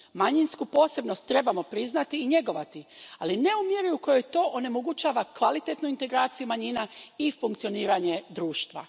Manjinsku posebnost trebamo priznati i njegovati, ali ne u mjeri u kojoj to onemogućava kvalitetnu integraciju manjina i funkcioniranje društva.